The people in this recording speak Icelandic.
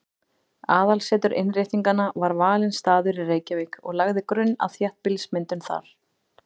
Aðalaðsetur Innréttinganna var valinn staður í Reykjavík og lagði grunn að þéttbýlismyndun þar.